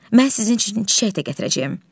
Mən sizin üçün çiçək də gətirəcəyəm.